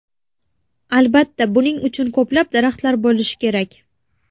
Albatta, buning uchun ko‘plab daraxtlar bo‘lishi kerak.